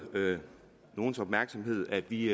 nogens opmærksomhed at vi